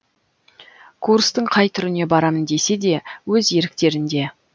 курстың қай түріне барамын десе де өз еріктерінде